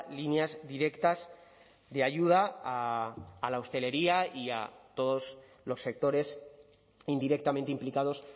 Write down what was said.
líneas directas de ayuda a la hostelería y a todos los sectores indirectamente implicados